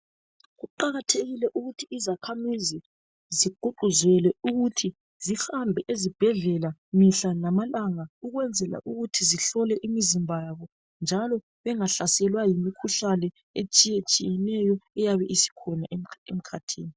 Kuqakathekile ukuthi izakhamizi zigqugquzelwe ukuthi zihambe ezibhedlela mihla lamalanga ukwenzela ukuthi zihlole imizimba yabo njalo bengahlaselwa yimikhuhlane etshiyetshiyeneyo eyabe isikhona emkhathini.